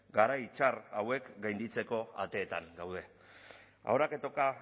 garai txar hauek gainditzeko ateetan gaude ahora que toca